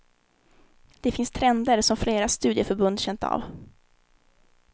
Det finns trender som flera studieförbund känt av.